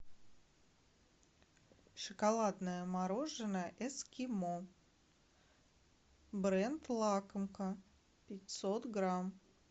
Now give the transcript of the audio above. шоколадное мороженое эскимо бренд лакомка пятьсот грамм